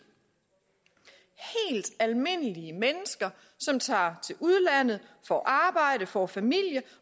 helt almindelige mennesker som tager til udlandet får arbejde får familie